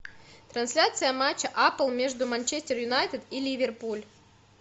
трансляция матча апл между манчестер юнайтед и ливерпуль